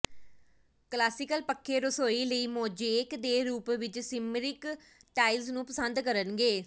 classical ਪੱਖੇ ਰਸੋਈ ਲਈ ਮੋਜ਼ੇਕ ਦੇ ਰੂਪ ਵਿਚ ਸਿਮਰਮਿਕ ਟਾਇਲਸ ਨੂੰ ਪਸੰਦ ਕਰਨਗੇ